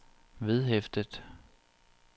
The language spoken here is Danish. vedhæftet